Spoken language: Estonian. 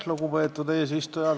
Lugupeetud eesistuja!